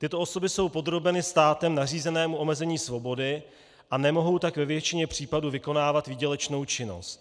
Tyto osoby jsou podrobeny státem nařízenému omezení svobody, a nemohou tak ve většině případů vykonávat výdělečnou činnost.